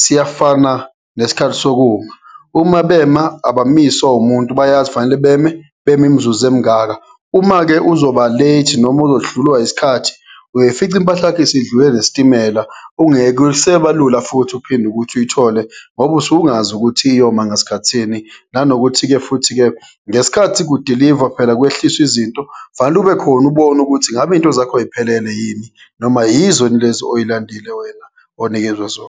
siyafana nesikhathi sokuma. Uma bema abamiswa umuntu, bayazi kufanele beme, bema imizuzu emingaka. Uma-ke uzoba late noma uzodlulwa isikhathi, uyoyifica impahla yakho isidlule nesitimela, ungeke sebalula futhi uphinde ukuthi uyithole ngoba usuke ungazi ukuthi iyoma ngasikhathini. Nanokuthi-ke futhi-ke ngesikhathi kudilivwa phela, kwehliswa izinto kufanele ube khona ubone ukuthi ngabe izinto zakho yiphelele yini, noma yizo yini lezi oyilandile wena onikezwa zona.